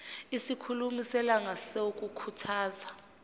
isikhulumi selanga sokukhuthaza